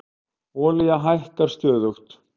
Olía hækkar stöðugt